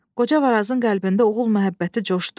Qoca Varazın qəlbində oğul məhəbbəti coşdu.